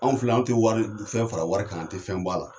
Anw filɛ, anw tɛ wari fɛn fara wari kan an tɛ fɛn b'a la.